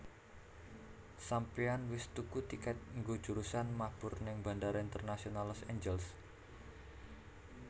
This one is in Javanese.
Sampeyan wis tuku tiket nggo jurusan mabur ning Bandara Internasional Los Angeles?